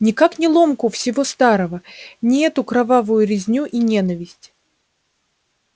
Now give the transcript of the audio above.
никак не ломку всего старого не эту кровавую резню и ненависть